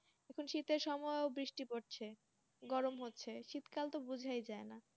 শীততে সময় বৃষ্টি পড়ছে গরম হচ্ছে শীত কাল বোছা যায় না